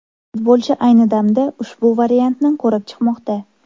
Futbolchi ayni damda ushbu variantni ko‘rib chiqmoqda.